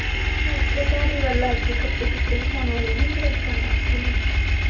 ਉਥੇ ਧਾਰੀਵਾਲ ਲੱਗ ਗਈ ਕੱਪੜੇ-ਕੁਪੜੇ ਵਖਾਉਣ ਵਾਲੀਆਂ ਨੀ ਹੁੰਦੀਆਂ ਦੁਕਾਨਾਂ ਉਥੇ ਲੱਗਗੀ